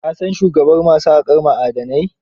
Ka san shugaban ma su haƙar ma'adanan?